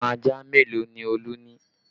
Ọmọ ajá mélòó ni Olú ni